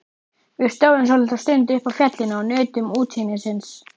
Við stóðum svolitla stund uppi á fjallinu og nutum útsýnisins.